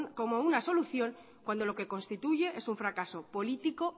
como una solución cuando lo que constituye es un fracaso político